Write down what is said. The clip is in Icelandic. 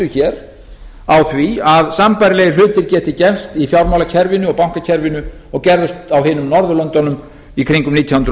hér á því að sambærilegir hlutir gætu gerst í fjármálakerfinu og bankakerfinu og gerðust á hinum norðurlöndunum í kringum nítján hundruð